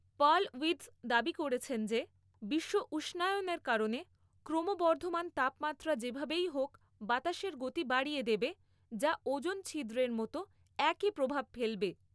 Perlwitz দাবি করেছেন যে, বিশ্ব উষ্ণায়নের কারণে ক্রমবর্ধমান তাপমাত্রা যেভাবেই হোক বাতাসের গতি বাড়িয়ে দেবে, যা ওজোন ছিদ্রের মত একই প্রভাব ফেলবে।